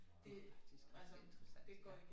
Det faktisk rigtig interessant ja